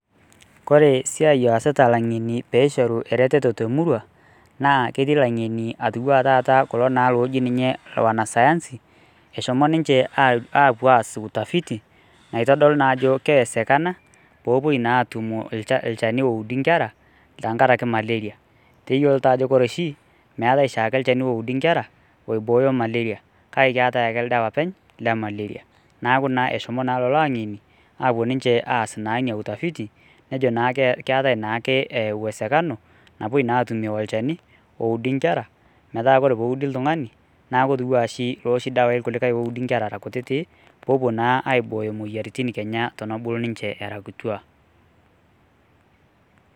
kore siai oasita ilang'eni peishoru eretoto temurua naa ketii ilang'eni atiwua taata kulo naa loji ninye wanasayansi eshomo ninche apuo aas utafiti naitodolu naa ajo keesekana popuoi naa atumu ilchani oudi inkera tenkaraki malaria teyiolo taa ajo kore oshi eetae shaake ilchani oudi inkera oibooyo malaria kake keetae ildawa openy le malaria naaku naa eshomo lolo ang'eni apuo ninche aas naa inia utafiti nejo naa keetae naake uwezekano napuoi naa atumie olchani oudi inkera metaa kore peudi iltung'ani naku etiwua ashi loshi dawai kuliukae oudi inkera era kutitik poopuo naa aibooyo moyiaritin kenya tonobulu ninchee era kituak.